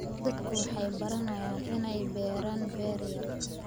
Dadku waxay baranayaan inay beeraan beer yar.